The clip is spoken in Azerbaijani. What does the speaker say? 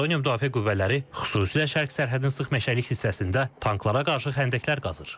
Estoniya müdafiə qüvvələri xüsusilə şərq sərhədinin sıx meşəlik hissəsində tanklara qarşı xəndəklər qazır.